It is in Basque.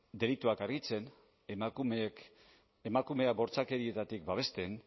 delituak argitzen emakumeak bortxakerietatik babesten